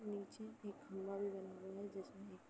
नीचे एक खंभा भी बना हुआ है। जिसमें एक --